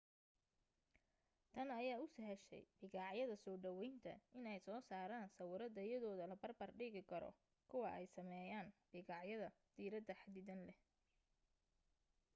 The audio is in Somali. tan ayaa u sahashay bikaacyada soo dhawaynta inay soo saaraan sawiro tayadooda la barbar dhigi karo kuwa ay sameeyaan bikaacyada diiradda xaddidan leh